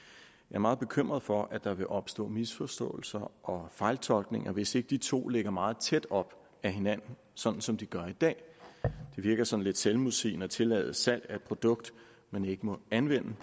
er meget bekymret for at der vil opstå misforståelser og fejltolkninger hvis ikke de to ligger meget tæt op ad hinanden sådan som de gør i dag det virker sådan lidt selvmodsigende at tillade salg af et produkt man ikke må anvende